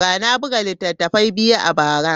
Na buga littattafai biyu a bara.